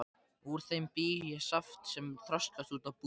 Úr þeim bý ég saft sem þroskast út á búðing.